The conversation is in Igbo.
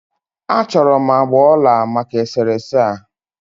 A chọrọ m agbà ọla maka e sere ese a.